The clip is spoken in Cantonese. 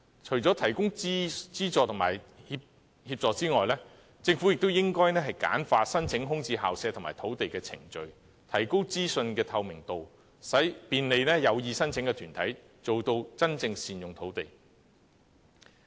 除提供資助和協助外，政府亦應簡化申請租用空置校舍和土地的程序，提高資訊透明度，便利有意申請的團體，做到真正善用土地。